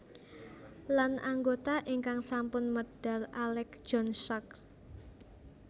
Lan anggota ingkang sampun medal Alec John Such